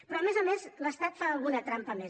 però a més a més l’estat fa alguna trampa més